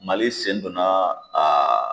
Mali sen donna a